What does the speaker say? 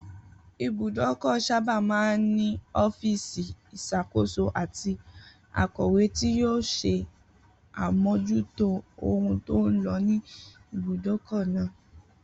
Ibùdókò̩ sábà máa ń ní o̩fíìsì ìs̩àkóso àti akò̩wé tí yóò s̩e àmójútó ohun tó ń lo̩ ní ibùdókò̩ náà